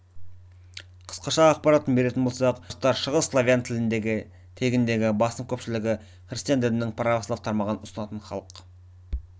қысқаша ақпарат беретін болсақ белорустар шығыс славян тегіндегі басым көпшілігі христиан дінінің православ тармағын ұстанатын халық